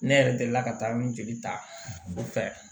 Ne yɛrɛ delila ka taa min ta o fɛ